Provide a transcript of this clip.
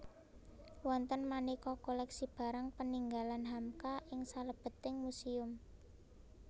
Wonten manéka koléksi barang peninggalan Hamka ing salebeting muséum